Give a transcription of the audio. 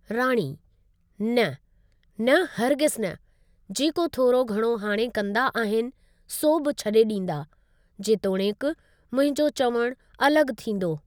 राणी: न, न हरगिज़ न, जेको थोरो घणो हाणे कंदा आहिनि सो बि छडे॒ डीं॒दा जेतोणीकि मुंहिंजो चवणु अलॻु थींदो।